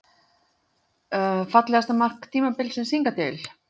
Fallegasta mark tímabilsins hingað til?